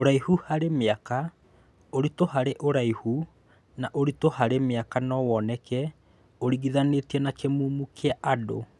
Ũraihu hari miaka, ũritũ harĩ ũraiihu na ũritũ harĩ mĩaka no woneke ũringithanĩtie na kĩmumu kĩa andũ